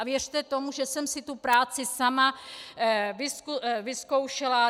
A věřte tomu, že jsem si tu práci sama vyzkoušela.